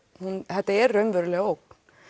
þetta er raunveruleg ógn